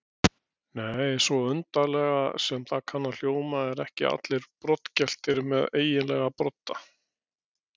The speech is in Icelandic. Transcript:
Nei, svo undarlega sem það kann að hljóma eru ekki allir broddgeltir með eiginlega brodda.